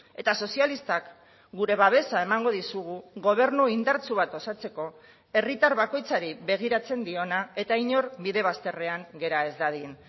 eta sozialistak gure babesa emango dizugu gobernu indartsu bat osatzeko herritar bakoitzari begiratzen diona eta inor bide bazterrean gera ez dadin